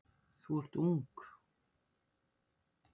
Þú ert ung.